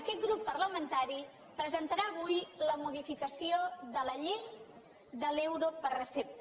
aquest grup parlamentari presentarà avui la modificació de la llei de l’euro per recepta